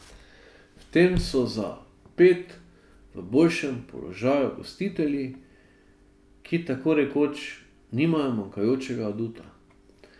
V tem so za ped v boljšem položaju gostitelji, ki tako rekoč nimajo manjkajočega aduta.